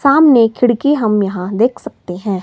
सामने खिड़की हम यहां देख सकते हैं।